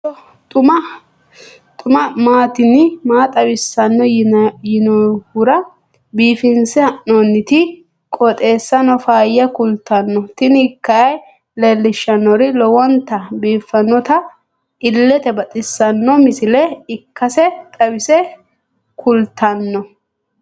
kowiicho xuma mtini maa xawissanno yaannohura biifinse haa'noonniti qooxeessano faayya kultanno tini kayi leellishshannori lowonta biiffinota illete baxissanno misile ikkase xawisse kultanno.